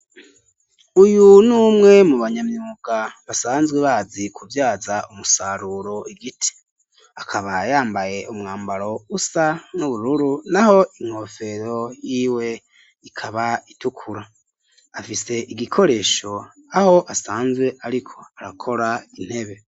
Uyu numwe mu banyamyuka basanzwe bazi kuvyaza umusaruro igiti, akaba yambaye umwambaro usa n'ubururu naho inkofero yiwe ikaba itukura, afise igikoresho aho asanzwe ariko arakora intebe.